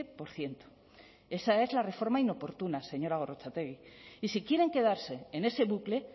por ciento esa es la reforma inoportuna señora gorrotxategi y si quieren quedarse en ese bucle